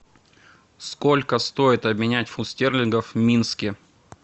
сколько стоит обменять фунт стерлингов в минске